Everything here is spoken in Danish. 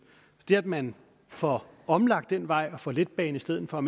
det at man får omlagt den vej og får letbane i stedet for